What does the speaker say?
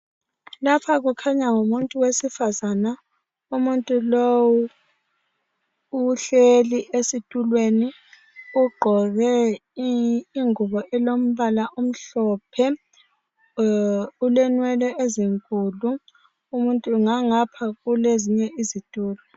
lapha kukhanya ngumuntu wesifazana umuntu lowu uhleli esitulweni ugqoke ingubo elimbala omhlophe ulenwee ezinkulu ngangapha kulezinye izitulo